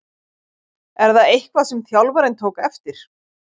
Er það eitthvað sem þjálfarinn tók eftir?